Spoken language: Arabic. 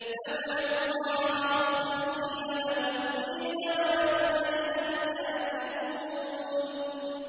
فَادْعُوا اللَّهَ مُخْلِصِينَ لَهُ الدِّينَ وَلَوْ كَرِهَ الْكَافِرُونَ